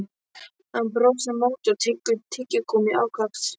Hann brosir á móti og tyggur tyggigúmmí ákaft.